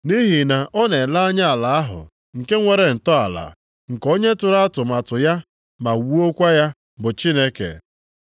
Nʼihi na ọ na-ele anya ala ahụ nke nwere ntọala, nke onye tụrụ atụmatụ ya ma wuokwa ya bụ Chineke.